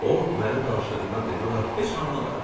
O mənim danışdığımdan demək olar heç nə anlamadı.